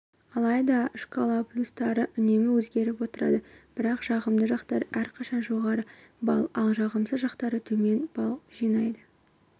алайда шкала полюстары үнемі өзгеріп отырады бірақ жағымды жақтары әрқашан жоғары балл ал жағымсыз жақтары төмен балл жинайды